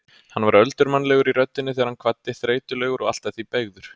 Hann var öldurmannlegur í röddinni þegar hann kvaddi, þreytulegur og allt að því beygður.